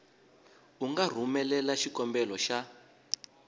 u nga rhumelela xikombelo xa